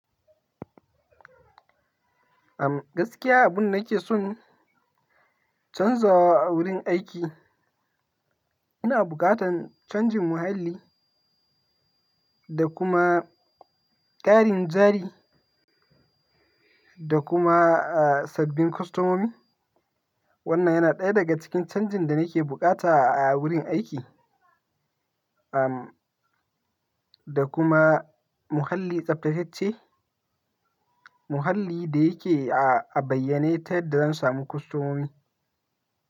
Am gaskiya abun nake son canzawa a wurin aiki, ina bukatan canjin muhalli da kuma ƙarin jari da kuma, ah, sabbin kostomomi. Wannan yana ɗaya daga cikin canjin da nake bukata a wurin aiki, am, da kuma muhalli tsaftatacce. Muhalli da yake a bayyanne ta yadda zan samu kostomomi.